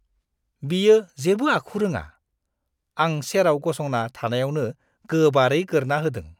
बियो जेबो आखु रोङा। आं सेराव गसंना थानायावनो गोबारै गोरना होदों।